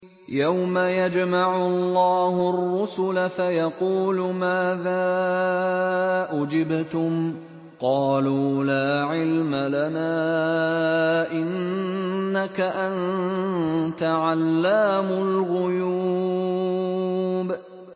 ۞ يَوْمَ يَجْمَعُ اللَّهُ الرُّسُلَ فَيَقُولُ مَاذَا أُجِبْتُمْ ۖ قَالُوا لَا عِلْمَ لَنَا ۖ إِنَّكَ أَنتَ عَلَّامُ الْغُيُوبِ